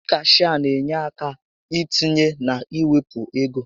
Ndị cashịa n'enye àkà itinye na iwepụ égo